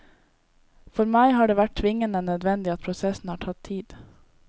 For meg har det vært tvingende nødvendig at prosessen har tatt tid.